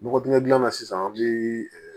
Bɔgɔtinɛdilan sisan an bɛ